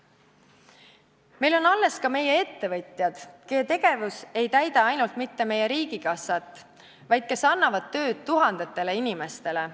Meil on alles ka meie ettevõtjad, kelle tegevus mitte ainult ei täida meie riigikassat, vaid kes annavad tööd tuhandetele inimestele.